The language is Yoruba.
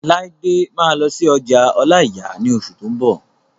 Laide máa lọ sí ọjà ọláìyà ní oṣù tó n bọ̀